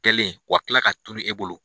Kɛlen wa kila ka tulu e bolo.